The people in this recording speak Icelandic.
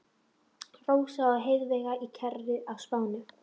Rósa með Heiðveigu í kerru á Spáni.